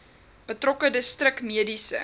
betrokke distrik mediese